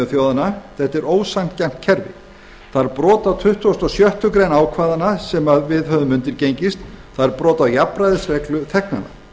þjóðanna þetta er ósanngjarnt kerfi það er brot á tuttugustu og sjöttu grein ákvæðanna sem við höfum undirgengist það er brot á jafnræðisreglu þegnanna